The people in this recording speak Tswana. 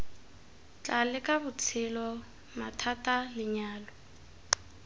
tla leka botshelo mathata lenyalo